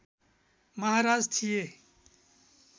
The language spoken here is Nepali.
महाराज थिए